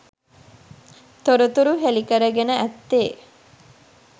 තොරතුරු හෙළිකරගෙන ඇත්තේ